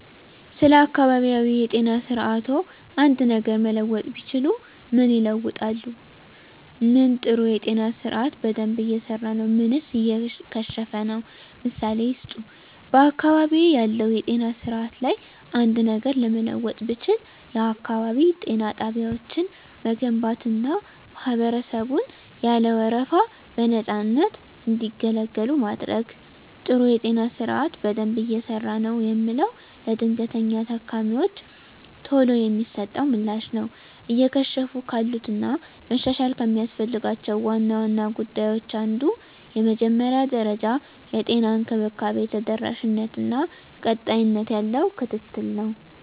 ስለ አካባቢያዊ የጤና ስርዓትዎ አንድ ነገር መለወጥ ቢችሉ ምን ይለውጣሉ? ምን ጥሩ የጤና ስርአት በደንብ እየሰራ ነው ምንስ እየከሸፈ ነው? ምሳሌ ይስጡ። *በአካባቢዬ ባለው የጤና ስርዓት ላይ አንድ ነገር ለመለወጥ ብችል፣ *የአካባቢ ጤና ጣቢያዎችን መገንባትና ማህበረሰቡን ያለ ወረፋ በነፃነት እንዲገለገሉ ማድረግ። *ጥሩ የጤና ስርዓት በደንብ እየሰራ ነው የምለው፦ ለድንገተኛ ታካሚወች ቶሎ የሚሰጠው ምላሽ ነው። *እየከሸፉ ካሉት እና መሻሻል ከሚያስፈልጋቸው ዋና ዋና ጉዳዮች አንዱ የመጀመሪያ ደረጃ የጤና እንክብካቤ ተደራሽነት እና ቀጣይነት ያለው ክትትል ነው።